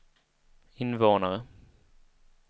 invånare